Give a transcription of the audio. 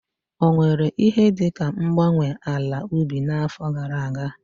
Ọ nwere ihe dị ka mgbanwe ala ubi n'afọ gara aga?